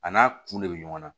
A n'a kun de bɛ ɲɔgɔn na